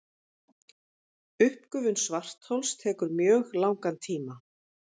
Uppgufun svarthols tekur mjög langan tíma.